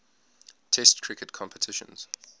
test cricket competitions